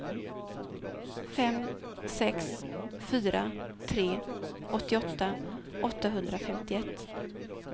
fem sex fyra tre åttioåtta åttahundrafemtioett